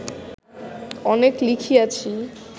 অনেক লিখিয়াছি